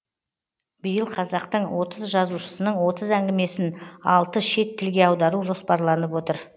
биыл қазақтың отыз жазушысының отыз әңгімесін алты шет тілге аудару жоспарланып отыр